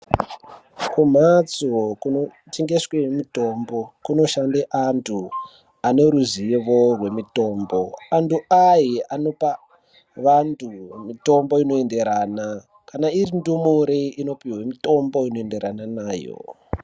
Kumhatso kunotengeswe mitombo kunoshande antu ane ruzivo rwemitombo antu aya anopa antu mitombo inoenderana kana iri ndumure inopuhwe mitombo inoenderana nayo.